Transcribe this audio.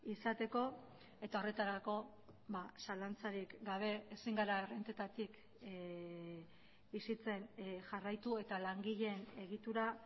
izateko eta horretarako zalantzarik gabe ezin gara errentetatik bizitzen jarraitu eta langileen egitura